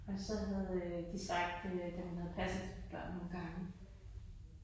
Og så havde øh de sagt øh da hun havde passet børnene nogle gange